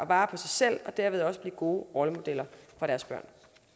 vare på sig selv og derved også blive gode rollemodeller for deres børn